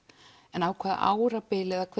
en á hvaða árabili eða hve